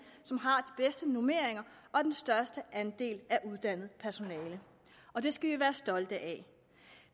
som normeringer og den største andel af uddannet personale og det skal vi være stolte af